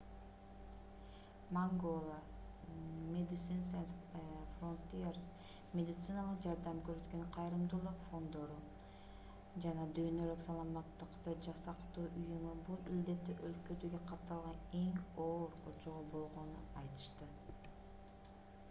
mangola medecines sans frontieres медициналык жардам көрсөткөн кайрымдуулук фонддору жана дүйнөлүк саламаттыкты сактоо уюму бул илдетти өлкөдөгү катталган эң оор очогу болгонун айтышты